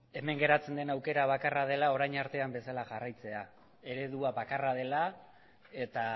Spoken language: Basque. hemen geratzen den aukera bakarra dela orain arte bezala jarraitzea eredua bakarra dela eta